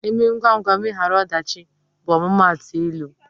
" Eme ngwa ngwa, emegharu ọdachi" bụ omumatu ịlụ